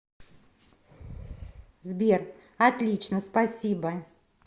сбер отлично спасибо